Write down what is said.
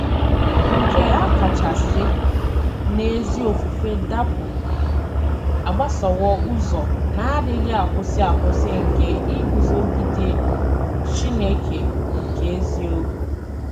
Nke a kacha si n'ezi ofufe dapụ agbasowo ụzọ na-adịghị akwụsị akwụsị nke iguzogide “ Chineke nke eziokwu. ”